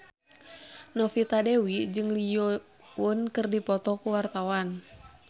Novita Dewi jeung Lee Yo Won keur dipoto ku wartawan